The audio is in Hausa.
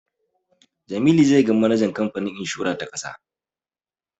Jamilu zai ga manajan kamfanin inshora ta ƙasa.